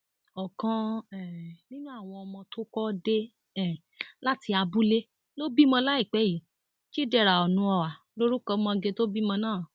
ọkan um nínú àwọn ọmọ tó kó dé um láti abúlé ló bímọ láìpẹ yìí chidera onuoha lorúkọ ọmọge tó bímọ náà